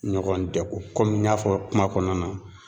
Ɲɔgɔn dɛgun kɔmi n y'a fɔ kuma kɔnɔna na.